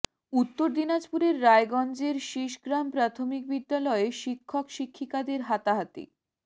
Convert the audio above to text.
উত্তর দিনাজপুরের রায়গঞ্জের শিষগ্রাম প্রাথমিক বিদ্যালয়ে শিক্ষক শিক্ষিকাদের হাতাহাতি